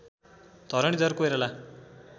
Dharanidhar Koirala